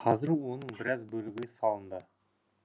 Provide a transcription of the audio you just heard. қазір оның біраз бөлігі салынды